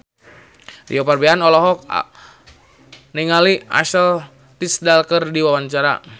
Rio Febrian olohok ningali Ashley Tisdale keur diwawancara